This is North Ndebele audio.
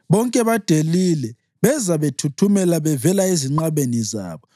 Bonke badelile; beza bethuthumela bevela ezinqabeni zabo.